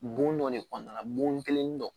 Bon dɔ de kɔnɔna la bon kelen dɔ